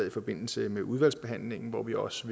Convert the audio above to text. i forbindelse med udvalgsbehandlingen hvor vi også